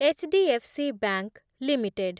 H D F C bank limited